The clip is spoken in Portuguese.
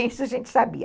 Isso a gente sabia.